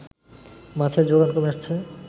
মাছের জোগান কমে আসছে